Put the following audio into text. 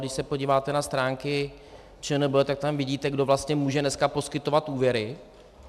Když se podíváte na stránky ČNB, tak tam vidíte, kdo vlastně může dneska poskytovat úvěry.